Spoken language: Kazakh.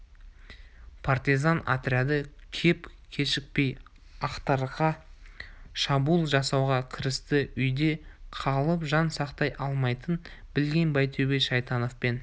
партизан отряды кеп кешікпей ақтарға шабуыл жасауға кірісті үйде қалып жан сақтай алмайтынын білген байтөбет шайтановпен